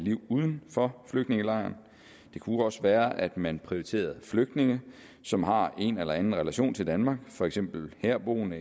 uden for flygtningelejren det kunne også være at man prioriterede flygtninge som har en eller anden relation til danmark for eksempel herboende